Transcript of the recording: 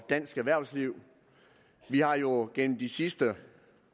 dansk erhvervsliv vi har jo gennem de sidste